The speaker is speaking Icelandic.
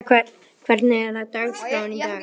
Hilda, hvernig er dagskráin í dag?